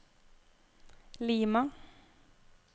Lima